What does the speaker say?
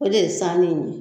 O de ye saani in ye.